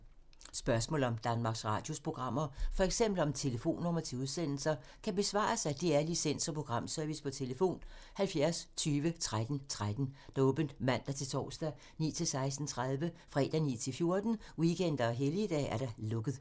Spørgsmål om Danmarks Radios programmer, f.eks. om telefonnumre til udsendelser, kan besvares af DR Licens- og Programservice: tlf. 70 20 13 13, åbent mandag-torsdag 9.00-16.30, fredag 9.00-14.00, weekender og helligdage: lukket.